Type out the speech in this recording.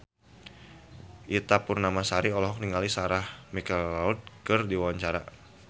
Ita Purnamasari olohok ningali Sarah McLeod keur diwawancara